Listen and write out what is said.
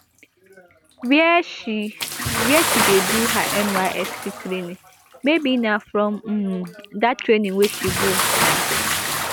wia she wia she dey do her nysc training maybe na from um dat training wey she go na